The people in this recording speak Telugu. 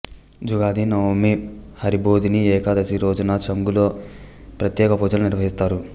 జుగాది నవమి హరిబోధిని ఏకాదశి రోజున చాంగులో ప్రత్యేక పూజలు నిర్వహిస్తారు